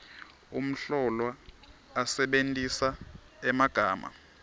umhlolwa asebentisa emagama